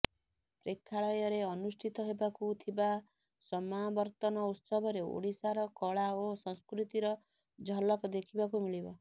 ପ୍ରେକ୍ଷାଳୟରେ ଅନୁଷ୍ଠିତ ହେବାକୁ ଥିବା ସମାବର୍ତନ ଉତ୍ସବରେ ଓଡ଼ିଶାର କଳା ଓ ସଂସ୍କୃତିର ଝଲକ ଦେଖିବାକୁ ମିଳିବ